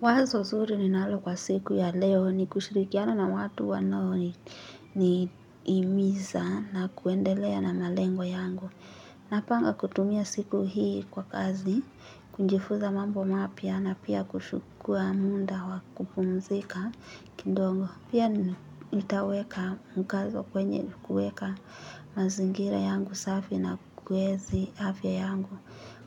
Wazo zuri ninalo kwa siku ya leo ni kushirikiana na watu wanao nihimiza na kuendelea na malengo yangu. Napanga kutumia siku hii kwa kazi, kujifuza mambo mapya na pia kuchukua muda wa kupumzika kidogo. Pia nitaweka mkazo kwenye kueka mazingira yangu safi na kuenzi afya yangu.